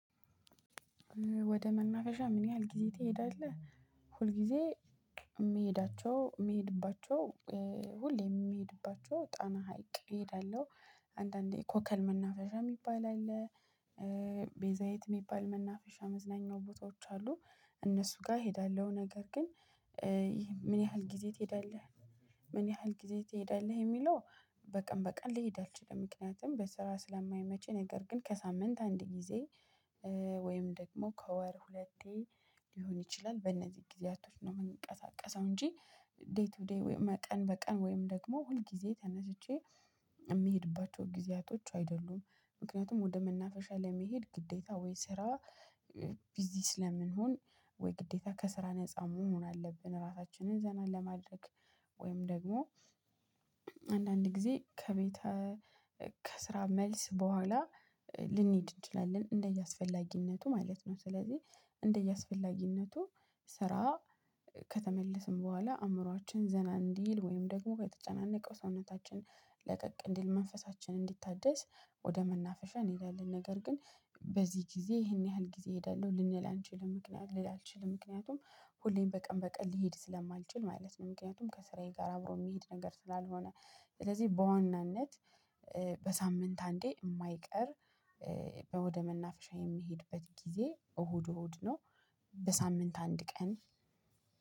ወደ መናፈሻ ምን ያህል ጊዜ ትሄዳለህ? ሁል ጊዜ የምሄዳቸው የምሄድባቸው ሁሌ የሚሄድባቸው ጣና ሀይቅ እሄዳለሁ። አንዳንዴ ኮከል መናፈሻ የሚባል አለ። ቤዛይት የሚባል መናፈሻ መዝናኛው ቦታዎች አሉ። እነሱ ጋር ይሄዳለሁ ነገር ግን ምን ያህል ጊዜ ትሄዳለህ? ምን ያህል ጊዜ ትሄዳለህ የሚለው? በቀን ልሂድ አልችልም ምክንያቱም በስራ ስለማይመች ነገር ግን ከሳምንት አንድ ጊዜ። ወይም ደግሞ ከወር ሁለቴ ሊሆን ይችላል በእነዚህ ጊዜያቶች ነው የምንቀሳቀሰው እንጂ። ዴይ ቱ ዴይ ቀን በቀን ወይም ደግሞ ሁል ጊዜ ተነስቼ የሚሄድባቸው ጊዜያቶች አይደሉም። ምክንያቱም ወደ መናፈሻ ለመሄድ ግዴታ ወይ ስራ። ቢዚ ስለምንሆን ወይ ግዴታ ከስራ ነፃ የህፃን መሆን አለብን ራሳችንን ዘና ለማድረግ። ወይም ደግሞ አንዳንድ ጊዜ ከቤተ ከስራ መልስ በኋላ ልንሄድ እንችላለን እንደየአስፈላጊነቱ ማለት ነው። ስለዚህ እንደየአስፈላጊነቱ ስራ ከተመለስን በኋላ አእምሮአችን ዘና እንዲል ወይም ደግሞ በተጨናነቀው ሰውነታችን ለቀቅ እንዲል መንፈሳችንን እንዲታደስ ወደ መናፍሻ እንሄዳለን። ነገር ግን በዚህ ጊዜ ይሄን ያህል ጊዜ እሄዳለሁ ልንል አንችልም ምክንያት ልል አልችልም። ምክንያቱም ሁሌም በቀን በቀን ሊሄድ ስለማልችል ማለት ነው። ምክንያቱም ከስራዬ ጋር አብሮ የሚሄድ ነገር ስላልሆነ። ስለዚህ በዋናነት በሳምንት አንዴ የማይቀር ወደ መናፍሻ የምሄድበት ጊዜ እሁድ እሁድ ነው። በሳምንት አንድ ቀን